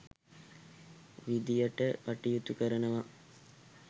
විදියට කටයුතු කරනවා.